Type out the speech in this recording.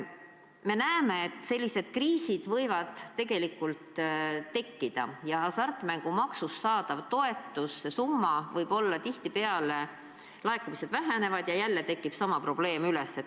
Me näeme, et sellised kriisid võivad tekkida, hasartmängumaksust saadav summa võib tihtipeale väheneda ja jälle tekib sama probleem.